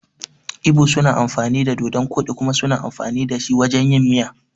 Ibo suna cin dodun koɗi kuma suna amfani dashi wajan yin miya.